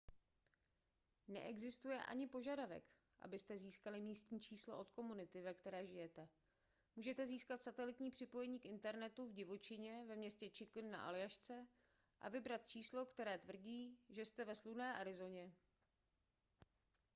neexistuje ani požadavek abyste získali místní číslo od komunity ve které žijete můžete získat satelitní připojení k internetu v divočině ve městě chicken na aljašce a vybrat číslo které tvrdí že jste ve slunné arizoně